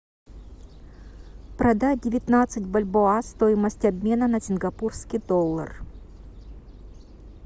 продать девятнадцать бальбоа стоимость обмена на сингапурский доллар